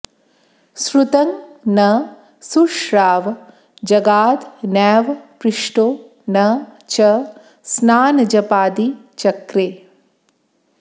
श्रुतं न शुश्राव जगाद नैव पृष्टो न च स्नानजपादि चक्रे